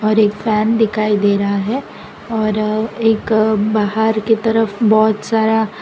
एक फैन दिखाई दे रहा है और एक बहार की तरफ बहोत सारा --